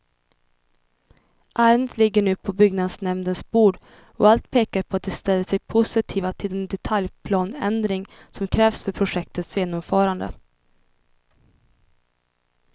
Ärendet ligger nu på byggnadsnämndens bord, och allt pekar på att de ställer sig positiva till den detaljplaneändring som krävs för projektets genomförande.